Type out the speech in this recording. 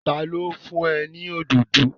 Ta ló fún ẹ ní òdòdó?